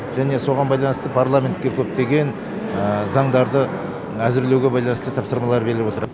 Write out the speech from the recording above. және соған байланысты парламентке көптеген заңдарды әзірлеуге байланысты тапсырмалар беріліп отыр